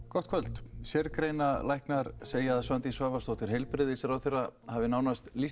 gott kvöld sérgreinalæknar segja að Svandís Svavarsdóttir heilbrigðisráðherra hafi lýst